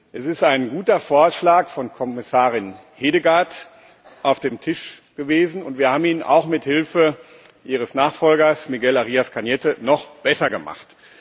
Es ist ein guter Vorschlag von Kommissarin Hedegaard auf dem Tisch gewesen, und wir haben ihn auch mit Hilfe ihres Nachfolgers, Miguel Arias Cañete, noch besser gemacht.